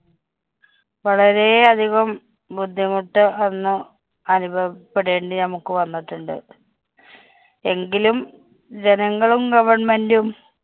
വളരെയധികം ബുദ്ധിമുട്ട് അന്ന് അനുഭവപ്പെടെണ്ടി നമുക്ക് വന്നിട്ടുണ്ട്. എങ്കിലും ജനങ്ങളും government ഉം